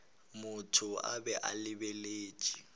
motho a be a lebeletše